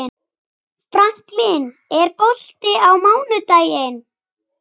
Franklin, er bolti á mánudaginn?